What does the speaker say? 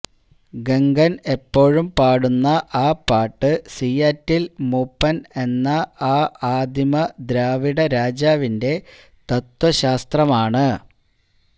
ഗംഗൻ എപ്പോഴും പാടുന്ന ആ പാട്ട് സിയാറ്റിൽ മൂപ്പൻ എന്ന ആ ആദിമ ദ്രാവിഡരാജാവിന്റെ തത്വശാസ്ത്രമാണ്